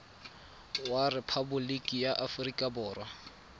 wa rephaboliki ya aforika borwa